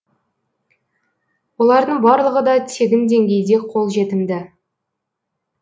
олардың барлығы да тегін деңгейде қолжетімді